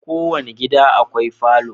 Kowane gida akwai falo